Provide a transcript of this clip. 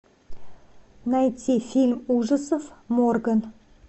найти фильм ужасов морган